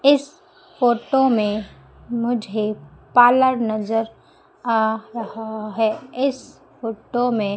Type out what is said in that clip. इस फोटो में मुझे पार्लर नजर आ रहा है इस फोटो में--